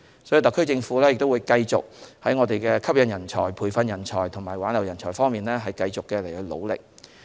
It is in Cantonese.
所以，特區政府會繼續在吸引人才、培訓人才和挽留人才方面努力。